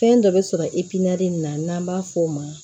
Fɛn dɔ bɛ sɔrɔ nin na n'an b'a f'o ma